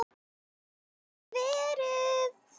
Gat það verið.?